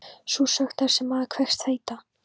Sú sögn, þar sem maður kveðst heita